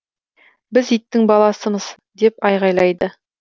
біз иттің баласымыз деп айғайлайды